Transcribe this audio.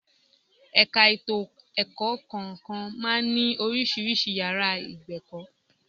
Ẹ̀ka ètò ẹ̀kọ́ kọ̀ọ̀kan máa ń ní oríṣiríṣi yàrá ìgbẹ̀kọ̀